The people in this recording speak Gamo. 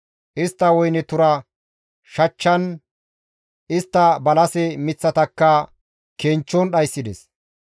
Istta woyne tura shachchan, istta balase miththatakka kenchchon dhayssides.